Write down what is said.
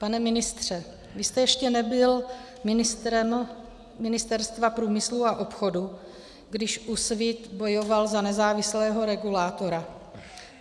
Pane ministře, vy jste ještě nebyl ministrem Ministerstva průmyslu a obchodu, když Úsvit bojoval za nezávislého regulátora.